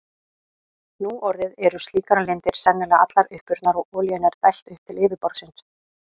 Nú orðið eru slíkar lindir sennilega allar uppurnar og olíunni er dælt upp til yfirborðsins.